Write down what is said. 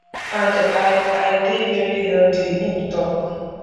and i i dey veri healthy im tok